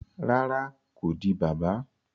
Rárá, ko di bàbà